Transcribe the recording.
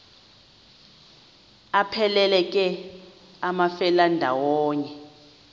aphelela ke amafelandawonye